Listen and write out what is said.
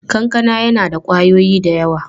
Kankana yana da ƙwayoyi da yawa.